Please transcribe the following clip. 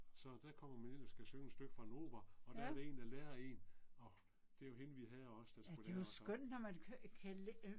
Så der kommer man ind og skal synge et stykke fra en opera og der er der en der lærer én og det var hende vi havde også der skulle lære os at